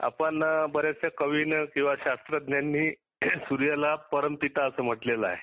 आपण कवीने किंवा शास्त्रज्ञाने सुर्याला परमपिता असे म्हटलेले आहे.